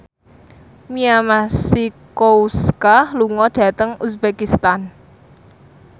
Mia Masikowska lunga dhateng uzbekistan